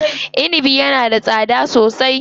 Inibi yana da tsada sosai.